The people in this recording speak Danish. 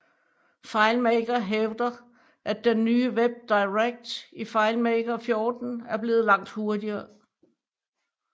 FileMaker hævder at den nye WebDirect i FileMaker 14 er blevet langt hurtigere